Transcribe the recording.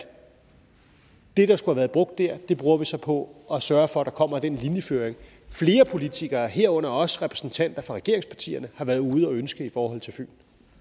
det der skulle have været brugt der bruger vi så på at sørge for at der kommer den linjeføring flere politikere herunder også repræsentanter for regeringspartierne har været ude at ønske i forhold til fyn